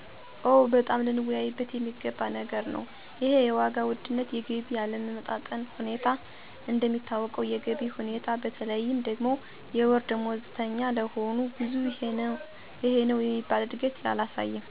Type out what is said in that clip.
ኦ! በጣም ልንወያይበት የሚገባው ነገር ነው ይሄ የዋጋ ውድነትና የገቢ አለመጣጣም ሁኔታ። እንደሚታወቀው የገቢው ሁኔታ በተለይም ደግሞ የወር ደሞዝተኛ ለሆኑት ብዙም ይሄነው የሚባል እድገት አላሳየም። የኑሮ ወድነቱ ደግሞ በየአመቱ 40% እና 50% በሚሆን እየጨመረ ነው። እና ይህ ነገር በዚህ ሰዓት አሳሳቢ ነው። ሰራተኛው ሙሉ ሰዓቱን እየሰራ ስለምግብ፣ ስለ መጠለያና ስለ አልባሳት ማሰብ ተገቢ አይደለም ብየ አምናለሁ።